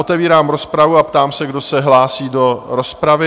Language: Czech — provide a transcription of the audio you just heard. Otevírám rozpravu a ptám se, kdo se hlásí do rozpravy?